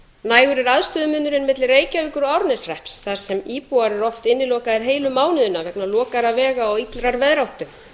nægur er aðstöðumunurinn milli reykjavíkur og árneshrepps þar sem íbúar eru oft innilokaðir heilu mánuðina vegna lokaðra vega og illrar veðráttu